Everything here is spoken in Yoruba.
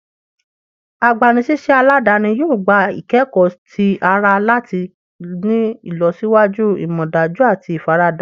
Agbanisiṣẹ aladani yoo gba ikẹkọ ti ara lati ni ilọsiwaju amọdaju ati ifarada wọn. "